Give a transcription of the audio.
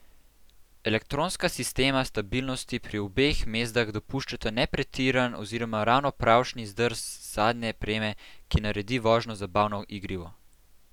Elektronska sistema stabilnosti pri obeh mazdah dopuščata ne pretiran oziroma ravno pravšnji zdrs zadnje preme, ki naredi vožnjo zabavno igrivo.